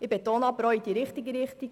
Ich betone: in die richtige Richtung.